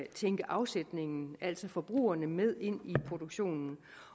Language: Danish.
tænke afsætningen altså forbrugerne med ind i produktionen